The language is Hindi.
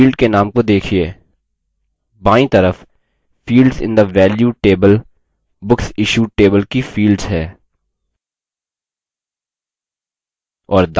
field के names को देखिये बायीं तरफ fields in the value table books issued table की fields हैं